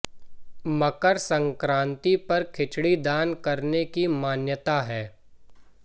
मकर संक्रांति पर खिचड़ी दान करने की मान्यता है